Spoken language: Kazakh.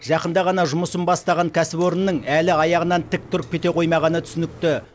жақында ғана жұмысын бастаған кәсіпорынның әлі аяғынан тік тұрып кете қоймағаны түсінікті